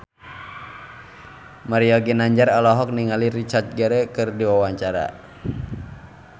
Mario Ginanjar olohok ningali Richard Gere keur diwawancara